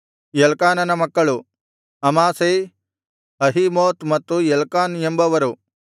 ಎಲ್ಕಾನನ ಮಕ್ಕಳು Amasai Ahimoth ಮತ್ತು Elkanah ಎಂಬವರು